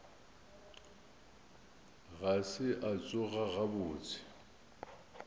ga se a tsoga gabotse